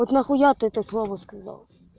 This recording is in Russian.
вот нахуя ты это слово сказал